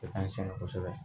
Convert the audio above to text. E ka n sɛgɛn kosɛbɛ